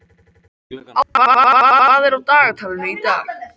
Ásborg, hvað er á dagatalinu í dag?